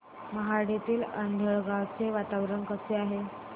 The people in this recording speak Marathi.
मोहाडीतील आंधळगाव चे वातावरण कसे आहे